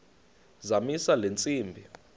zamisa le ntsimbi